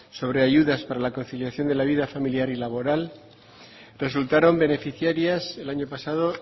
sobre ayudas para la conciliación de la vida familiar y laboral resultaron beneficiarias el año pasado